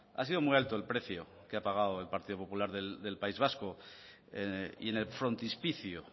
ha sido muy alto el precio que ha pagado el partido popular del país vasco y en el frontispicio